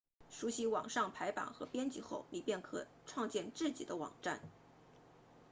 熟悉网上排版和编辑后你便可创建自己的网站